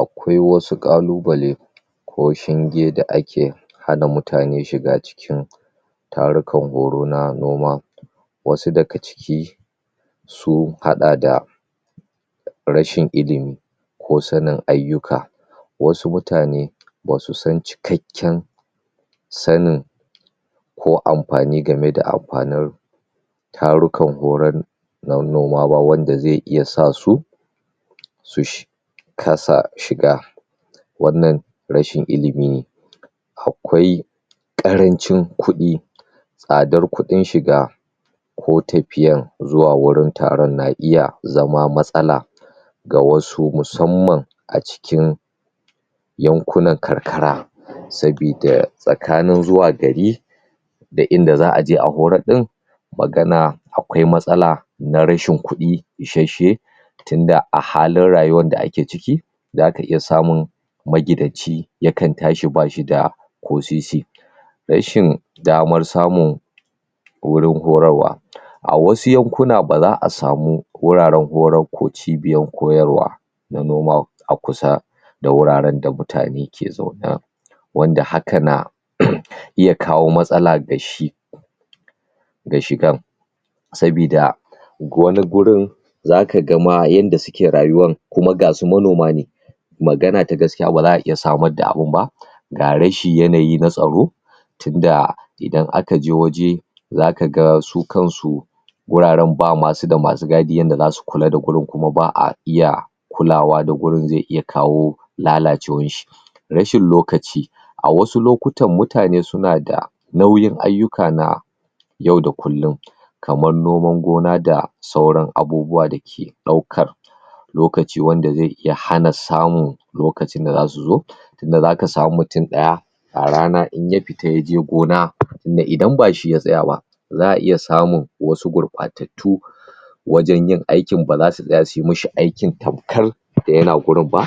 Akwai wasu kalubale ko shinge da ake hana mutane shiga cikin tarukan horo na noma, wasu daga ciki sun hada da rashin ilimi ko sanin ayyuka, wasu mutane basu san cikakken sanin ko amfani game da amfanin tarukan horon na noma ba wanda zai iya sa su su kasa shiga wannan rashin ilimi ne akwai karancin kudi tsadar kudin shiga ko tafiya zuwa wurin taron na iya zama matsala ga wasu musamman a cikin yankunan karkara saboda tsakanin zuwa gari da inda za'a je a horar din akwai matsala na rashin kudi isasshe tunda a halin rayuwar da ake ciki zaka iya samun magidanci ya tashi bashi da ko sisi, shirin damar samun wurin horarawa A wasu yankuna baza a sami wuraren ko cibiyoyin koyarwa na noma a kusa da wuraren da mutane ke zaune ba wanda haka na iya kawo matsala da shigar saboda, saboda wani gurin zaka ma yanda suke rayuwan kuma gasu manoma ne magana ta gaskiya ba za'a iya samar da abin ba. Ga rashin yanayi na tsaro idan aka je waje zaka ga su kansu guraren basu da masu gadi yanda zasu kula da gurin kuma ba'a iya kulawa da gurin zai iya kawo lalacewarshi. Rashin lokaci, a wasu lokutan mutane suna da nauyin ayyuka na yau da kullum kamar noman gona da sauran abubuwa dake daukar lokaci wanda zai iya hana samun lokacin da zasu zo inda zaka sami mutum daya a rana idan ya fita yaje gona da idan bashi ya tsaya ba za'a iya samun wasu gurbatttatu wajen yin aikin baza su tsaya su yi masa aikin tamkar yana gurin ba